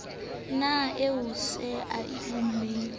na ie seoa se unang